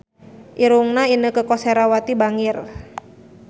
Irungna Inneke Koesherawati bangir